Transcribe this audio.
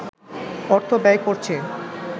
অর্থ ব্যয় করছে